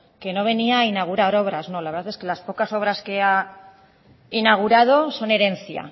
que no venía a inaugurar obras no la verdad es que las pocas obras que ha inaugurado son herencia